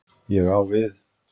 Ég á við.